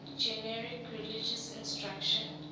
generic religious instruction